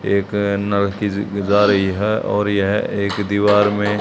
एक जा रही है और यह एक दीवार में--